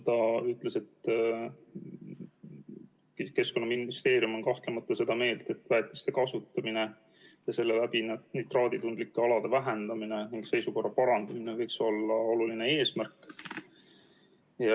Ta ütles, et Keskkonnaministeerium on kahtlemata seda meelt, et väetiste kasutamine ja selle läbi nitraaditundliku ala vähendamine ning seisukorra parandamine võiks olla oluline eesmärk.